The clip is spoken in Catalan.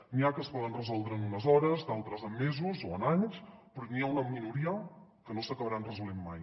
n’hi ha que es poden resoldre en unes hores d’altres en mesos o en anys però n’hi ha una minoria que no s’acabaran resolent mai